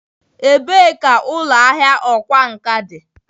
Ebee ka ụlọ ahịa ọkwá nkà dị?